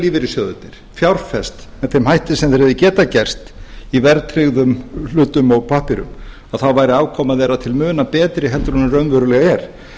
lífeyrissjóðirnir fjárfest með þeim hætti sem þeir geta gert í verðtryggðum hlutum og pappírum að þá væri afkoma þeirra til muna betri heldur hún raunverulega er